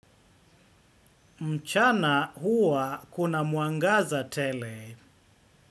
Mchana, huwa kuna mwangaza tele.